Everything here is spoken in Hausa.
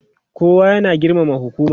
kowa ya na girmama hukuma